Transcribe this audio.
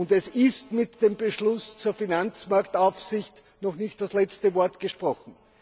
Es ist mit dem Beschluss zur Finanzmarktaufsicht noch nicht das letzte Wort gesprochen.